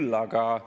Miks te seda teete?